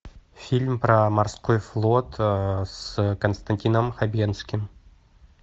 фильм про морской флот с константином хабенским